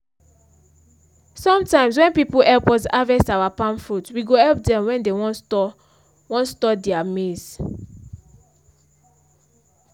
sometimes when people help us harvest our palm fruit we go help them when they wan store wan store their maize.